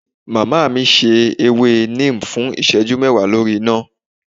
iya mi se èwé Neem fún iseju mewa lorí iná